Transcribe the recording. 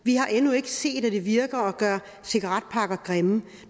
vi har endnu ikke set at det virker at gøre cigaretpakker grimme